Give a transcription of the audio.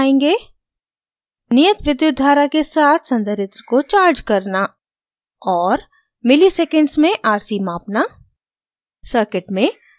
आगे हम दिखायेंगे: